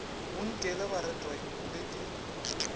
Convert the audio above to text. bonkele ba retwa le ke